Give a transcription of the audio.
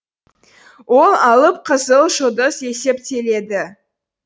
ол алып қызыл жұлдыз есептеледі